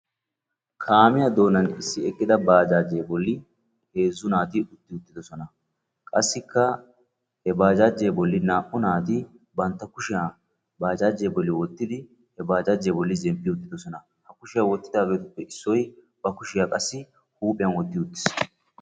kaamiya doonan issi eqqqida baajaajee bolli heeezzu naati eqqidosona. qassikka he baajaajje bolli naa'u naati bantta kushiya baajjajee bolli wottidi he baajaajee bolli zemppi uttidosona. ha kushiya wotidaageetuppe issoy ba kushiya huuphiyan wotti uttiis.